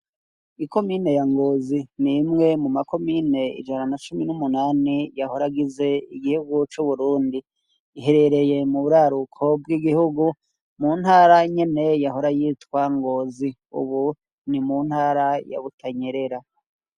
Ikomine ya Ngozi ni mwe mu makomine ijana na cumi n'umunani yahora agize igihegu c'uburundi iherereye mu buraruko bw'igihugu mu ntara nyene yahora yitwa ngozi ubu ni mu ntara ya Butanyerera.